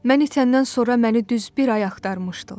Mən itəndən sonra məni düz bir ay axtarmışdılar.